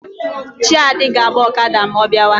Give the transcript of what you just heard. Chiadi ga-agba Okada ma ọ biawa.